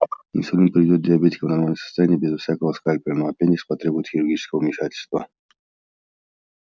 инсулин приведёт диабетика в нормальное состояние без всякого скальпеля но аппендикс потребует хирургического вмешательства